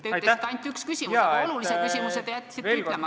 Te ütlesite, et oli ainult üks küsimus, aga sellest olulisest küsimusest jätsite rääkimata.